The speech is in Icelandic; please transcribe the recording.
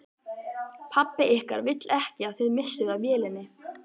Pabbi ykkar vill ekki að þið missið af vélinni